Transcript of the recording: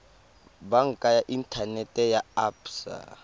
banka ya inthanete ya absa